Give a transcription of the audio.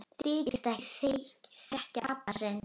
Þykist ekki þekkja pabba sinn!